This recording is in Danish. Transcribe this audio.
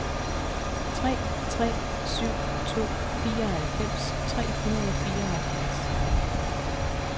tre tre syv to fireoghalvfems tre hundrede og fireoghalvfjerds